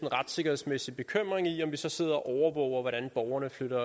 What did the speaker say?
retssikkerhedsmæssig bekymring i om vi så sidder og overvåger hvordan borgerne flyver